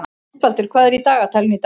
Ástvaldur, hvað er í dagatalinu í dag?